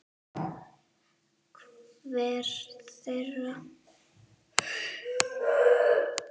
Hver þeirra?